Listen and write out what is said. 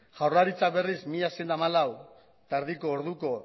jaurlaritzak berriz mila seiehun eta hamalau koma bosteko